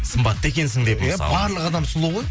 сымбатты екенсің деп мысалы иә барлық адам сұлу ғой